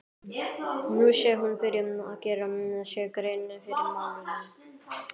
Nú sé hún byrjuð að gera sér grein fyrir málunum.